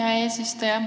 Aitäh, hea eesistuja!